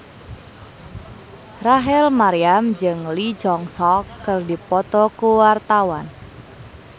Rachel Maryam jeung Lee Jeong Suk keur dipoto ku wartawan